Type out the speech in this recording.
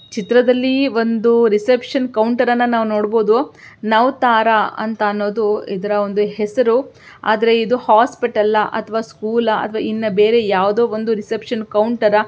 ಚಿತ್ರದಲ್ಲಿ ಒಂದು ರೆಸೆಪ್ಟಿವ್ನ್ ಕೌಂಟರ್ಅನ್ನ ನಾವು ನೋಡಬಹುದು ನೌತಾರ ಅಂತ ಅನ್ನೋದು ಇದರ ಒಂದು ಹೆಸರು ಆದ್ರೆ ಇದು ಹಾಸ್ಪಿಟಲ್ ಆ ಅಥವಾ ಸ್ಕೂಲ್ ಅಹ್ ಅಥವಾ ಇನ್ನ ಬೇರೆ ಯಾವ್ದೋ ಅಂದು ರೆಸೆಪ್ಟಿವ್ನ್ ಕೌಂಟರ್ ಆ--